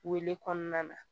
Wele kɔnɔna na